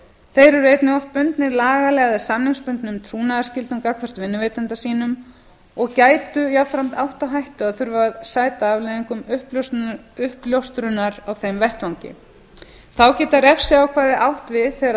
þeir eru einnig oft bundnir lagalegum eða samningsbundnum trúnaðarskyldum gagnvart vinnuveitanda sínum og gætu jafnframt átt á hættu að þurfa að sæta afleiðingum uppljóstrunar á þeim vettvangi þá geta refsiákvæði átt við þegar